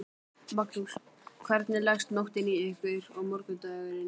Magnús: Hvernig leggst nóttin í ykkur og morgundagurinn?